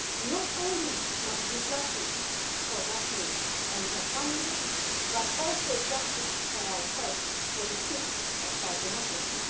Not only must there be justice for Daphne and her family but also justice for our press for the sake of our democracy.